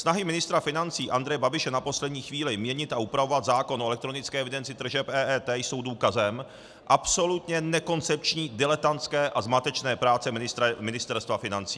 Snahy ministra financí Andreje Babiše na poslední chvíli měnit a upravovat zákon o elektronické evidenci tržeb EET jsou důkazem absolutně nekoncepční, diletantské a zmatečné práce Ministerstva financí.